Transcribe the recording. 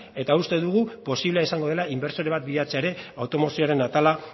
eta uste dugu posible izango dela inbertsore bat bilatzea ere automozioaren atala